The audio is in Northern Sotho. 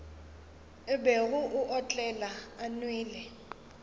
bego a otlela a nwele